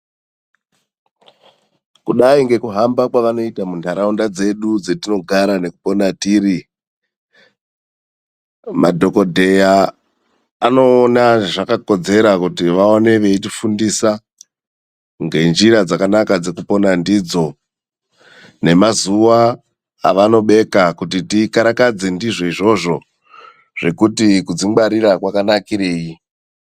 Kudai ngekuhamba kwavanoita mundaraunda dzedu dzatinogara nekupona tiri .Madhokodheya anoona zvakakodzera kuti vaone veyitifundisa ngenjira dzakanaka dzekupona ndidzo. Nemazuwa avanobeka kuti tikarakadze ndizvo izvozvo, zvokuti kudzingwarira kwakanakireyi?